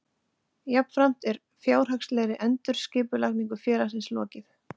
Jafnframt er fjárhagslegri endurskipulagningu félagsins lokið